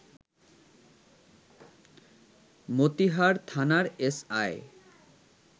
মতিহার থানার এসআই